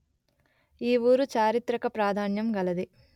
ఈ ఊరు చారిత్రిక ప్రాధాన్యం గలది